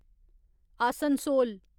Asansol